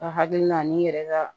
Ka hakilina n'i yɛrɛ ka